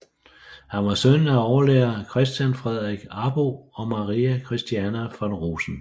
Han var søn af overlærer Christian Fredrik Arbo og Marie Christiane von Rosen